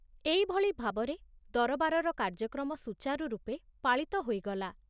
ଏଇଭଳି ଭାବରେ ଦରବାରର କାର୍ଯ୍ୟକ୍ରମ ସୁଚାରୁ ରୂପେ ପାଳିତ ହୋଇଗଲା।